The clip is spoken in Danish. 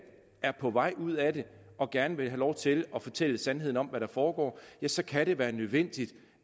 er på vej ud af det og gerne vil have lov til at fortælle sandheden om hvad der foregår så kan det være nødvendigt